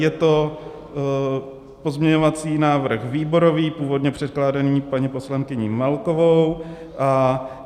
Je to pozměňovací návrh výborový, původně předkládaný paní poslankyní Melkovou.